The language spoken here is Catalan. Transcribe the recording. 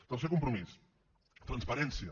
tercer compromís transparència